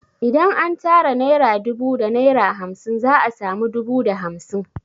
Idan an tara naira dubu da naira hamsin za a sami dubu da hamsin